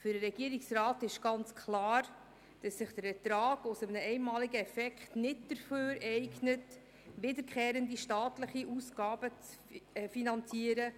Für den Regierungsrat ist ganz klar, dass sich der Ertrag aus einem einmaligen Effekt nicht dafür eignet, wiederkehrende staatliche Ausgaben zu finanzieren.